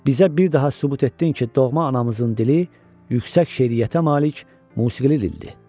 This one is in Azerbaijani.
Bizə bir daha sübut etdin ki, doğma anamızın dili yüksək şeiriyyətə malik musiqili dildir.